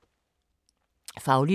Faglitteratur